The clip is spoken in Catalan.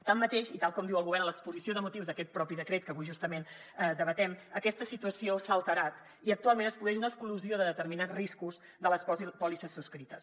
tanmateix i tal com diu el govern en l’exposició de motius d’aquest propi decret que avui justament debatem aquesta situació s’ha alterat i actualment es produeix una exclusió de determinats riscos de les pòlisses subscrites